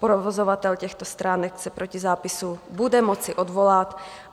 Provozovatel těchto stránek se proti zápisu bude moci odvolat.